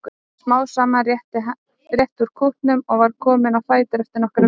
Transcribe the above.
En smám saman rétti hann úr kútnum og var kominn á fætur eftir nokkrar vikur.